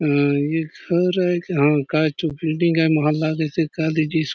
ह ए घर आय हा काचो बिल्डिंग आय मा लागेसे कालीज --